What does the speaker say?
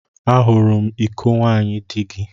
Ahụrụ m iko nwaanyị di gị.